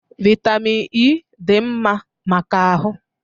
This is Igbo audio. Vitamin E dị mma maka ahụ